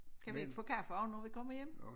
Kan vi ikke få kaffe og når vi kommer hjem?